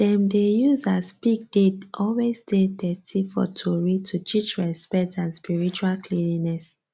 dem dey use as pig dey always dey dirty for tory to teach respect and spiritual cleanliness